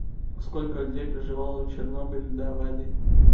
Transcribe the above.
сколько людей проживало в чернобыле до аварии